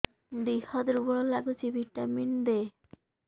ଦିହ ଦୁର୍ବଳ ଲାଗୁଛି ଭିଟାମିନ ଦେ